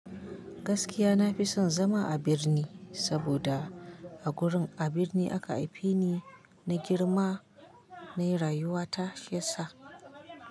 Gaskiya na fi son zama a birni saboda. A gurin a birni aka haife ni. Na girma na yi rayuwa ta shi ya sa.